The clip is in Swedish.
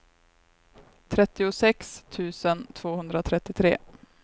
trettiosex tusen tvåhundratrettiotre